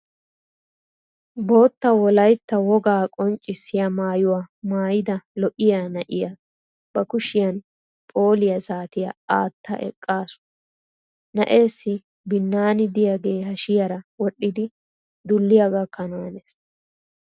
Bootta wolaytta wogaa qonccissiya maayuwa maayida lo"iya na"iya ba kushiyan phooliya saatiya aatta eqaasu. Na"eessi binnaani diyagee hashiyara wodhdhidi dulliya gakkanaanes.